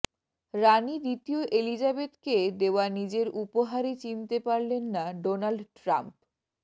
রানি দ্বিতীয় এলিজাবেথকে দেওয়া নিজের উপহারই চিনতে পারলেন না ডোনাল্ড ট্রাম্প